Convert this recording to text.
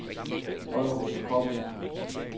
Vollerup Kobbel